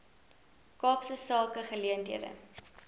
kaapse sake geleenthede